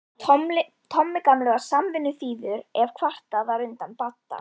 Tommi gamli var samvinnuþýður ef kvartað var undan Badda.